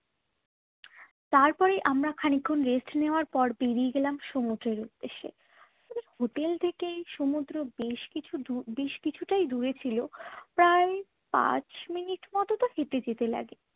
তারপরে আমরা খানিকক্ষণ rest নেওয়ার পর বেরিয়ে গেলাম সমুদ্রের উদ্দেশ্যে। হোটেল থেকেই সমুদ্র বেশ কিছু দূর বেশ কিছু টাই দূরে ছিল প্রায় পাঁচ মিনিটে যেতে লাগে।